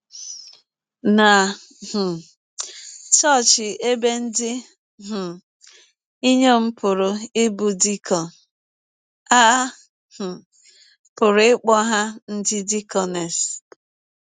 Na um chọọchị ebe ndị um inyọm pụrụ ịbụ dikọn, a um pụrụ ịkpọ ha ndị dikọnes.